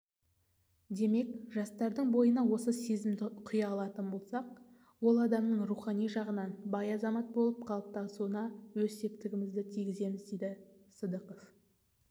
демек жастардың бойына осы сезімді құя алатын болсақ ол адамның руіани жағынан бай азамат болып қалыптасауына өз септігімізді тигіземіз дейді сыдықов